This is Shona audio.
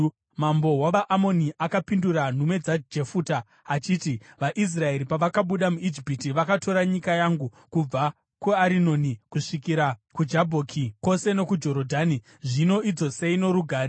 Mambo wavaAmoni akapindura nhume dzaJefuta achiti, “VaIsraeri pavakabuda muIjipiti, vakatora nyika yangu kubva kuArinoni kusvikira kuJabhoki, kwose nokuJorodhani. Zvino idzosei norugare.”